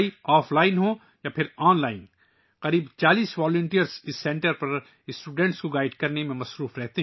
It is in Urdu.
آف لائن ہو یا آن لائن تعلیم، اس مرکز میں تقریباً 40 رضاکار طلباء رہنمائی میں مصروف ہیں